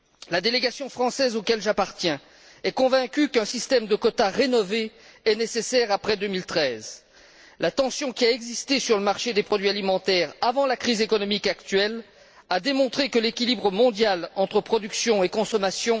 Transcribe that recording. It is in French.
La délégation française à laquelle j'appartiens est convaincue qu'un système de quotas rénové sera nécessaire après 2013. La tension qui a existé sur le marché des produits alimentaires avant la crise économique actuelle a démontré la fragilité de l'équilibre mondial entre production et consommation.